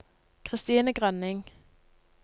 Christine Grønning